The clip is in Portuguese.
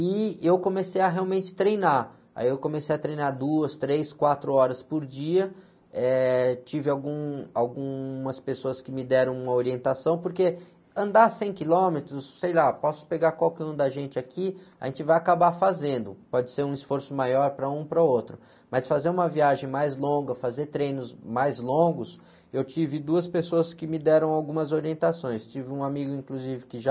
e eu comecei a realmente treinar, aí eu comecei a treinar duas, três, quatro horas por dia, eh, tive algum, algumas pessoas que me deram uma orientação, porque andar cem quilômetros, sei lá, posso pegar qualquer um da gente aqui, a gente vai acabar fazendo, pode ser um esforço maior para um para o outro, mas fazer uma viagem mais longa, fazer treinos mais longos, eu tive duas pessoas que me deram algumas orientações, tive um amigo inclusive que já...